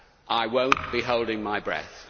I will not be holding my breath.